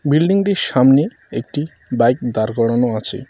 বিল্ডিংটির সামনে একটি বাইক দাঁড় করানো আছে।